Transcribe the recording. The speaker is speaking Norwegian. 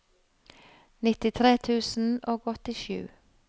nittitre tusen og åttisju